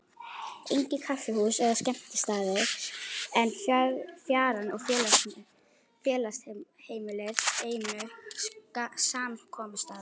Engin kaffihús eða skemmtistaðir en fjaran og félagsheimilið einu samkomustaðirnir.